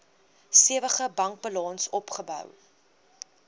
stewige bankbalans opgebou